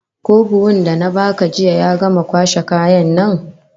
Ko buhun da na baka jiya ya gama kwashe kayan nan?